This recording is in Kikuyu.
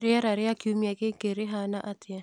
rĩera rĩa kiumia gĩkĩ rĩhana atĩa